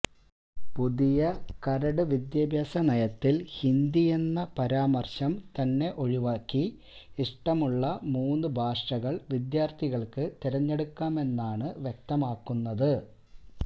പുതിയ കരട് വിദ്യാഭ്യാസ നയത്തില് ഹിന്ദി എന്ന പാരമര്ശം തന്നെ ഒഴിവാക്കി ഇഷ്ടമുള്ള മൂന്ന് ഭാഷകള് വിദ്യാര്ത്ഥികള്ക്ക് തിരഞ്ഞെടുക്കാമെന്നാണ് വ്യക്തമാക്കുന്നത്